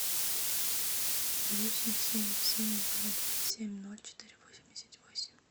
восемь семь семь два два семь ноль четыре восемьдесят восемь